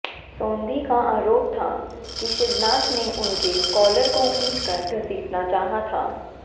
सोंधी का आरोप था कि शिवनाथ ने उनके काॅलर को खींच कर घसीटना चाहा था